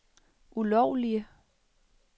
ulovlige